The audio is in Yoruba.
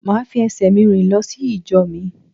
Màá fi esè mi rìn lọ sí ìjọ mi